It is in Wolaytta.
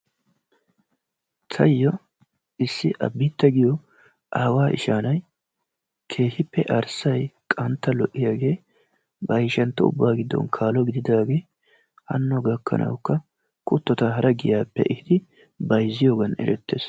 Taayo issi Abita giyo aawa ishsha na'ay keehippe arssay qantta lo'iyaage, bayshshanttu ubaa giddon kaalo gididaage, hanno gakkanawukka kuttota hara giyaappe ehidi bayziyoggan erettes.